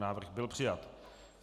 Návrh byl přijat.